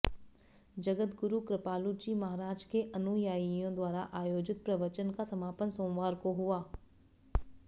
जगद्गुरु कृपालुजी महाराज के अनुयायियों द्वारा आयोजित प्रवचन का समापन सोमवार को हुआ